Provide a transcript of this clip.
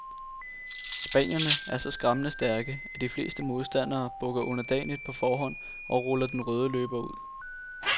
Spanierne er så skræmmende stærke, at de fleste modstandere bukker underdanigt på forhånd og ruller den røde løber ud.